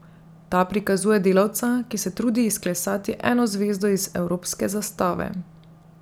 Ta prikazuje delavca, ki se trudi izklesati eno zvezdo iz evropske zastave.